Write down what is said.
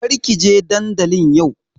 Kar ki je dandalin yau!